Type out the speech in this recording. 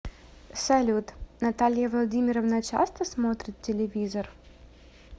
салют наталья владимировна часто смотрит телевизор